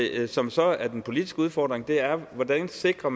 det som så er den politiske udfordring er hvordan man sikrer